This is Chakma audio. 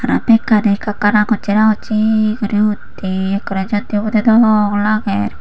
aro megkani ekka ekka rangoche rangoche guri utte ekkore jor dibode dok lager.